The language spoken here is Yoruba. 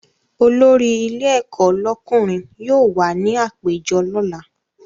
Olórí ilé ẹ̀kọ́ lọ́kùnrin yóò wà ní àpéjọ lọ́la